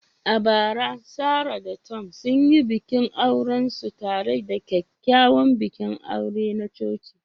A bara, Sarah da Tom sun yi bikin aurensu tare da kyakkyawan bikin aure na coci.